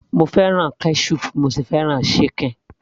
mo fẹ́ràn ketchup bí mo ṣe fẹ́ràn ṣíkìn